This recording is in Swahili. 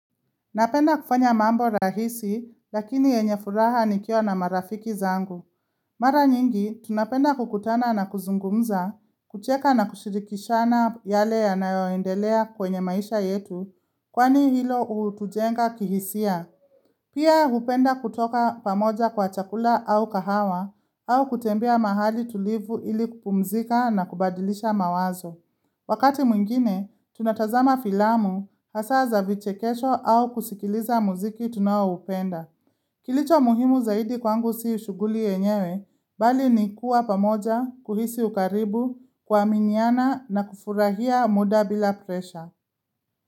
Napenda kufanya mambo rahisi, lakini yenye furaha nikiwa na marafiki zangu. Mara nyingi, tunapenda kukutana na kuzungumza, kucheka na kushirikishana yale yanayo endelea kwenye maisha yetu, kwani hilo hutujenga kihisia. Pia hupenda kutoka pamoja kwa chakula au kahawa, au kutembea mahali tulivu ili kupumzika na kubadilisha mawazo. Wakati mwingine, tunatazama filamu hasa za vichekesho au kusikiliza muziki tunao upenda. Kilicho muhimu zaidi kwangu si shughuli yenyewe, bali ni kuwa pamoja, kuhisi ukaribu, kuaminiana na kufurahia muda bila presha.